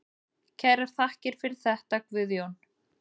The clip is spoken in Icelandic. Kærar þakkir fyrir þetta Guðjón.